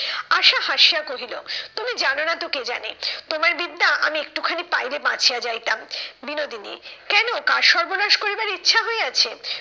আশা হাসিয়া কহিল, তুমি জানো না তো কে জানে? তোমার বিদ্যা আমি একটু খানি পাইলে বাঁচিয়া যাইতাম। বিনোদিনী, কেন কার সর্বনাশ করিবার ইচ্ছা হইয়াছে?